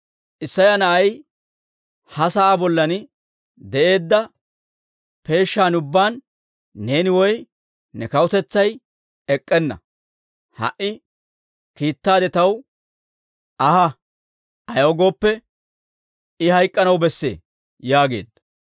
Isseya na'ay ha sa'aa bollan de'eedda peeshan ubbaan neeni woy ne kawutetsay ek'k'enna. Ha"i kiittaade taw Aa ahissa; ayaw gooppe, I hayk'anaw bessee» yaageedda.